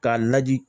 K'a naji